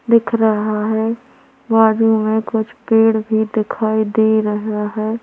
दिख रहा हैं बाजू मे कुछ पेड़ भी दिखाई दे रहा हैं।